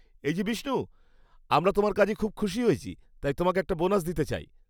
এই যে বিষ্ণু, আমরা তোমার কাজে খুব খুশি হয়েছি, তাই তোমাকে একটা বোনাস দিতে চাই।